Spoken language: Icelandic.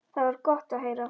Það var gott að heyra.